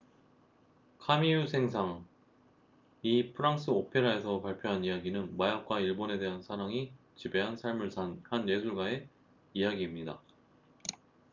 "카미유 생상camille saint-saens이 프랑스 오페라에서 발표한 이야기는 "마약과 일본에 대한 사랑이 지배한 삶을 산" 한 예술가의 이야기입니다.